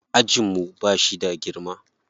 Ajin mu ba shi da girma.